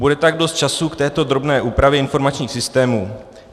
Bude tak dost času k této drobné úpravě informačních systémů.